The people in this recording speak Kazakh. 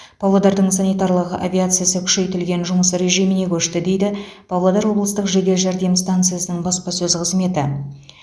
павлодардың санитарлық авиациясы күшейтілген жұмыс режиміне көшті дейді павлодар облыстық жедел жәрдем станциясының баспасөз қызметі